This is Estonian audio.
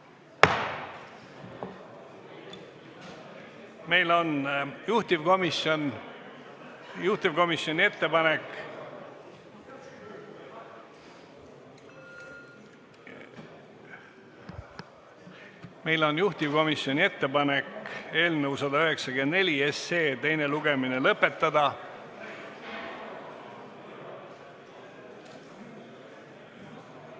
Meil on juhtivkomisjoni ettepanek eelnõu 194 teine lugemine lõpetada.